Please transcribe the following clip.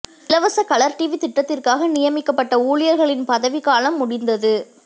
இலவச colour TV திட்டத்திற்காக நியமிக்கப்பட்ட ஊழியர்களின் பதவிக் காலம் முடிந்தது